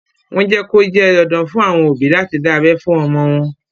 Wọ́n jẹ́ kó jẹ́ dandan fún àwọn òbí láti dá abẹ́ fún ọmọ wọn.